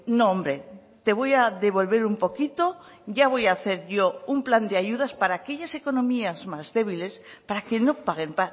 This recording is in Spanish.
no hombre te voy a devolver un poquito ya voy a hacer yo un plan de ayudas para aquellas economías más débiles para que no paguen